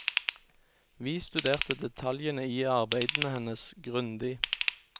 Vi studerte detaljene i arbeidene hennes grundig.